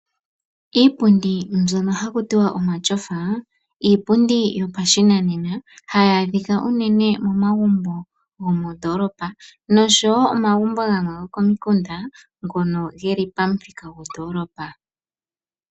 Iipundi mbyono haku tiwa omatyofa, Iipundi yopashinanena hayi adhika unene momagumbo gomoondoolopa noshowo omagumbo gamwe go komikunda ngono ge li pamuthika gwondoolopa.